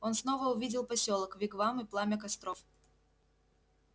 он снова увидел посёлок вигвам и пламя костров